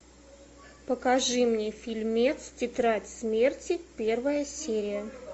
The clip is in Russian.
покажи мне фильмец тетрадь смерти первая серия